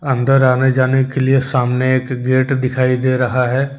अंदर आने जाने के लिए सामने एक गेट दिखाई दे रहा है।